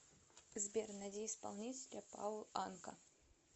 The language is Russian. сбер найди исполнителя паул анка